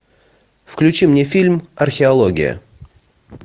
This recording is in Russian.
включи мне фильм археология